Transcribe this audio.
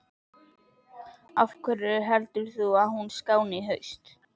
Af hverju heldur þú að hún skáni í haust?